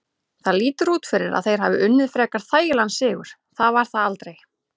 Það lítur út fyrir að þeir hafi unnið frekar þægilegan sigur, það var það aldrei.